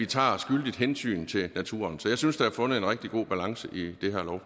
tager skyldigt hensyn til naturen så jeg synes at der er fundet en rigtig god balance i det